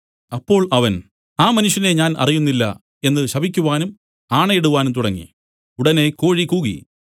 അപ്പോൾ അവൻ ആ മനുഷ്യനെ ഞാൻ അറിയുന്നില്ല എന്നു ശപിക്കുവാനും ആണയിടുവാനും തുടങ്ങി ഉടനെ കോഴി കൂകി